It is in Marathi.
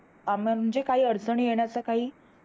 अं म्हणजे काही अडचणी येण्याचा काही